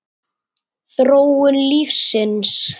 Þróun lífsins